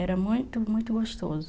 Era muito, muito gostoso.